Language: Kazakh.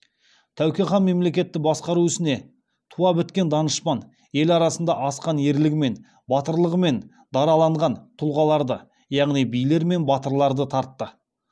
тәуке хан мемлекетті басқару ісіне туа біткен данышпан ел арасында асқан ерлігімен батырлығымен дараланған тұлғаларды яғни билер мен батырларды тартты